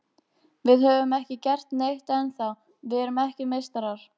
Við höfum ekki gert neitt ennþá, við erum ekki meistarar.